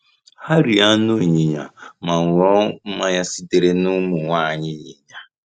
Ha rie anụ ịnyịnya ma ṅụọ mmanya sitere n’ụmụ nwanyị ịnyịnya.